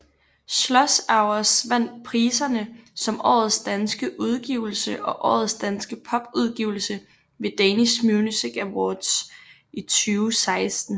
Slush Hours vandt priserne som Årets danske udgivelse og Årets danske popudgivelse ved Danish Music Awards 2016